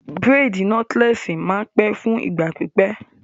Bírèèdì nọ́tílẹ́ẹ̀sì máa n pẹ́ fún ìgbà pípẹ́